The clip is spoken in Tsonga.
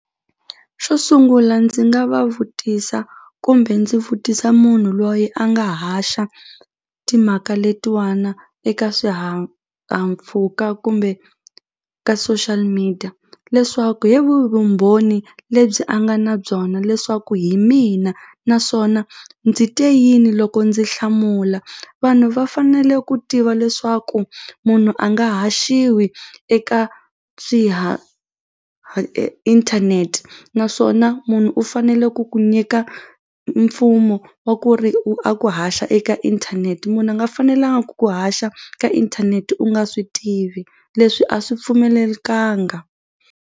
Xo sungula ndzi nga va vutisa kumbe ndzi vutisa munhu loyi a nga haxa timhaka letiwana eka swihahampfhuka kumbe ka social media leswaku hi vumbhoni lebyi a nga na byona leswaku hi mina naswona ndzi te yini loko ndzi hlamula vanhu va fanele ku tiva leswaku munhu a nga haxiwi eka inthanete naswona munhu u fanele ku ku nyika mpfumo wa ku ri u a ku haxa eka inthanete munhu a nga fanelangi ku ku haxa ka inthanete u nga swi tivi leswi a swi pfumelelekanga.